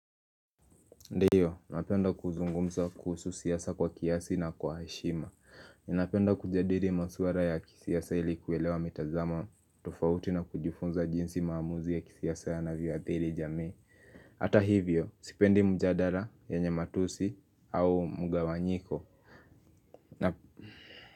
Ndiyo, napenda kuzungumza kuhusu siasa kwa kiasi na kwa heshima. Ninapenda kujadiri masuara ya kisiasa ilikuelewa mitazamo tofauti na kujifunza jinsi maamuzi ya kisiasa yanavyo athiri jamii. Hata hivyo, sipendi mjadara yenye matusi au mgawanyiko.